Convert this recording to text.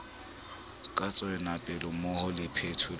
ka tshwanelo mmoho le phethelo